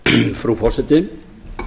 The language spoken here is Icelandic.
frú forseti